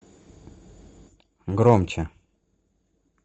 громче